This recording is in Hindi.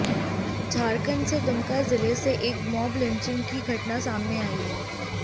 झारखंड से दुमका जिले से एक मॉब लिंचिंग की घटना सामने आई है